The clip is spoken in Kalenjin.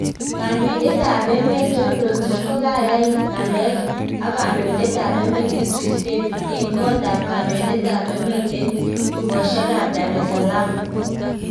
Kandoiten ap emet john rotich kokaya ngalalek ak Kandoitet ap emet Idris Debby en kotap kondoitet ap eemet en tuskoshek ap daresaaalm